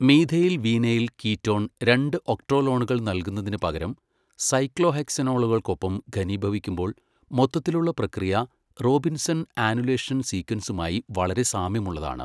Methyl vinyl ketone രണ്ട് ഒക്ട്രോലോണുകൾ നൽകുന്നതിന് പകരം സൈക്ലോഹെക്സനോണുകൾക്കൊപ്പം ഘനീഭവിക്കുമ്പോൾ മൊത്തത്തിലുള്ള പ്രക്രിയ റോബിൻസൺ ആനുലേഷൻ സീക്വൻസുമായി വളരെ സാമ്യമുള്ളതാണ്.